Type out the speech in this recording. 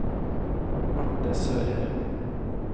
Marte Sørheim